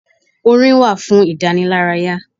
Orin wà fún ìdánilárayá.